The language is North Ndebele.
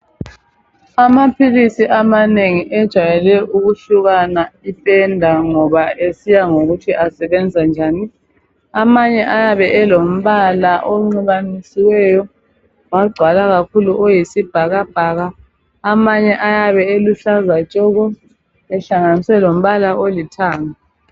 Amaphilisi amanengi ejayele ukuhlukana ipenda ngoba esiya ngokuthi asebenza njani. Amanye ayabe elombala onxibanisiweyo kwagcwala kakhulu oyisibhakabhaka, amanye ayabe eluhlaza tshoko ehlanganiswe lombala olithanga.